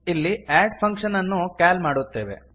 ಇಲ್ಲಿ add function ಅನ್ನು call ಮಾಡುತ್ತೇವೆ